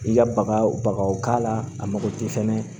I ka baga bagaw k'a la a mago tɛ fɛnɛ